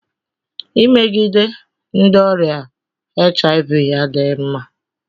Imegide ndị ọrịa HIV adịghị mma.